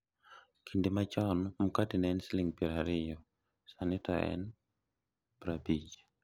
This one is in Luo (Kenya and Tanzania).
kinde machon mkate ne en siling' piero ariyo, sani to en piero abich